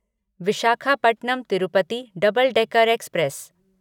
Visakhapatnam Tirupati double decker express